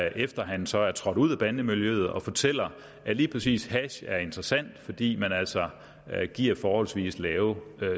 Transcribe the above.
efter at han så er trådt ud af bandemiljøet og fortæller at lige præcis hash er interessant fordi man altså giver forholdsvis lave